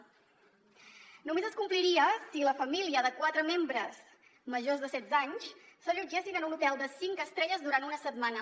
només es compliria si la família de quatre membres majors de setze anys s’allotgessin en un hotel de cinc estrelles durant una setmana